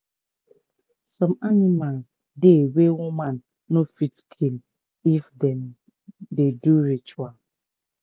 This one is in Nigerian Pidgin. some anima dey wey woman no fit kill if dem dey do ritual